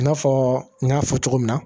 I n'a fɔ n y'a fɔ cogo min na